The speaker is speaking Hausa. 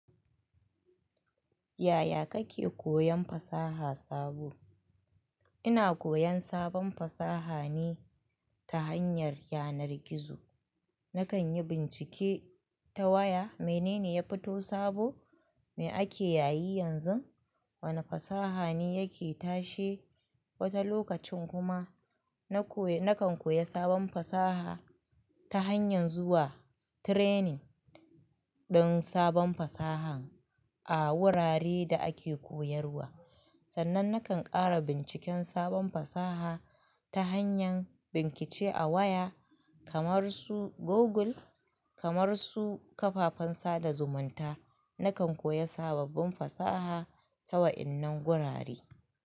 Yaya kake koyan fasaha sabo? Ina koyan sabon fasaha ne ta hanyar yanar gizo. Nakan yi bincike ta waya. Menene ya fito sabo mai ake yayi yanzu? Wane fasaha ne yake tashe? Wata lokacin kuma na kan koya sabon fasaha ta hanyar zuwa training din sabon fasaha a wuraren da ake koyarwa. Sannan na kan ƙara binciken sabon fasaha ta hanyar bincike a waya kamar su Google, kamar su kafafen sada zumunta. Nakan koya sababbin fasaha ta wa'innan gurare.